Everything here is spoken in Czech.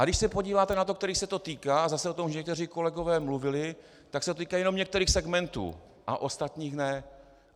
A když se podíváte na to, kterých se to týká, a zase o tom už někteří kolegové mluvili, tak se to týká jenom některých segmentů a ostatních ne.